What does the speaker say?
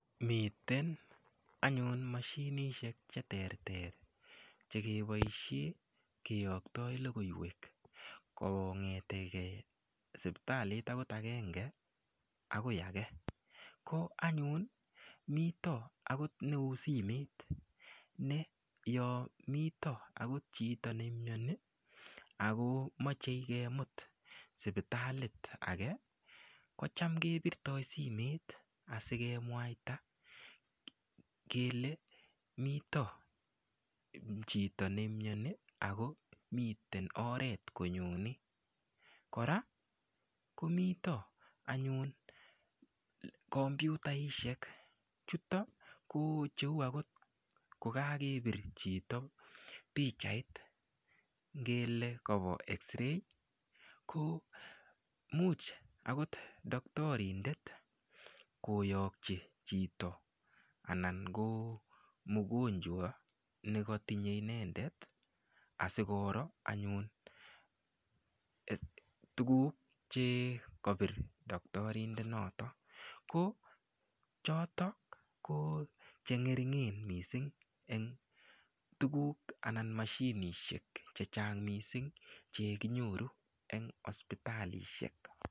Miten anyun mashinishek che ter ter chekeboishe keyoktoi lokoiwek kongeteke siptalit akot akenge akoi age ko anyun mito akot neusimet ne yo mito akot chito neimioni ako mochei kemut sipitalit ake ko cham kebirtoi simet asikemwaita kele mito chito neimioni ako miten oret konyoni kora komito anyun komputaishek chutok ko cheu akot kokakepir chito pichait ng'ele kawo x-ray ko muuch akot daktarindet koyokchi chito anan ko mukonjwa nekatinyei inendet asikoro anyun tukuk chikapir doktorindet noto ko chotok ko chengeringen missing eng tukuk anan mashinishek che chang mising chekinyoru eng hospitalishek.